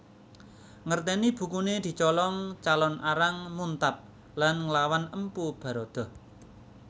Ngerteni bukune dicolong Calon Arang muntab lan nglawan Empu Baradah